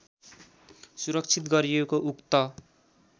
सुरक्षित गरिएको उक्त